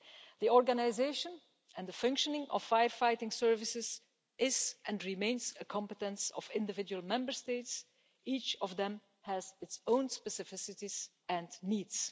The organisation and the functioning of firefighting services is and remains a competence of individual Member States and each Member State has its own specificities and needs.